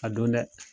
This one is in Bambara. A don dɛ